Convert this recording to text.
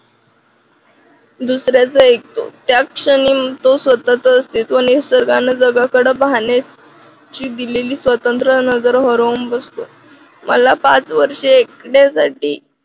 दुसऱ्याच ऐकतो त्या क्षणी तो स्वतःचं अस्तित्व निसर्गाला जगाकडे दिलेली स्वतंत्र नगर हरवून बसतो. मला पाच वर्षे एकट्यासाठी